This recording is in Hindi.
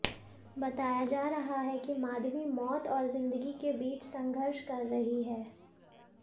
बताया जा रहा है कि माधवी मौत और जिंदगी के बीच संघर्ष कर रही है